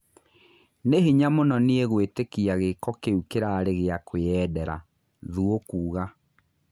"Ni hinya mũno niĩ gwĩ tĩ kia hĩ ko kĩ u kĩ rarĩ gĩ a kwĩ yendera" Thuo kuuga.